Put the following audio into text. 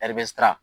ɛri bɛ siran